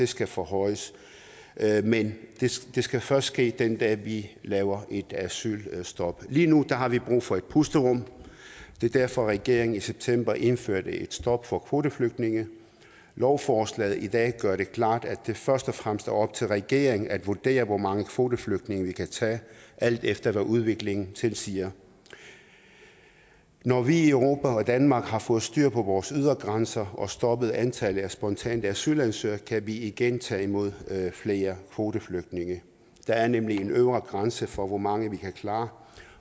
skal forhøjes men det skal først ske den dag vi laver et asylstop lige nu har vi brug for et pusterum det er derfor at regeringen i september indførte et stop for kvoteflygtninge lovforslaget i dag gør det klart at det først og fremmest er op til regeringen at vurdere hvor mange kvoteflygtninge vi kan tage alt efter hvad udviklingen tilsiger når vi i europa og danmark har fået styr på vores ydre grænser og stoppet antallet af spontane asylansøgere kan vi igen tage imod flere kvoteflygtninge der er nemlig en øvre grænse for hvor mange vi kan klare